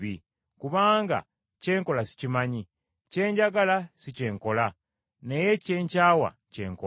Kubanga kye nkola sikimanyi. Kye njagala si kye nkola, naye kye nkyawa kye nkola.